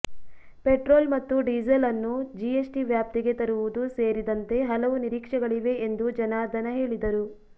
petrol ಮತ್ತು diesel ಅನ್ನು GST ವ್ಯಾಪ್ತಿಗೆ ತರುವುದು ಸೇರಿದಂತೆ ಹಲವು ನಿರೀಕ್ಷೆಗಳಿವೆ ಎಂದು ಜನಾರ್ದನ ಹೇಳಿದರು